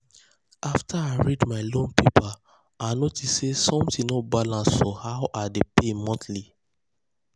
after i read my loan paper i notice say something no balance for how i dey pay monthly.